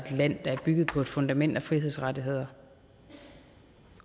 land der er bygget på et fundament af frihedsrettigheder